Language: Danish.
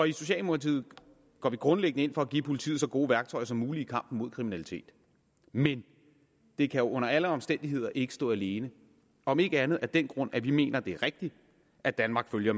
i socialdemokratiet går vi grundlæggende ind for at give politiet så gode værktøjer som muligt i kampen mod kriminalitet men det kan under alle omstændigheder ikke stå alene om ikke andet af den grund at vi mener at det er rigtigt at danmark følger